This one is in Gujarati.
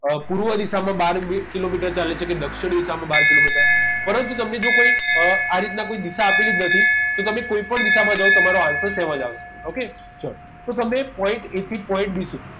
અ પૂર્વ દિશામાં બાર કિલોમીટર ચાલે છે કે દક્ષિણ દિશામાં બાર કિલોમીટર પરંતુ તમને જો કોઈ અ આ રીતના કોઈ દિશા આપેલી જ નથી તો તમે કોઈપણ દિશામાં જાઓ તમારો answer same જ આવશે okay ચલો તો તમને point a થી point b સુધી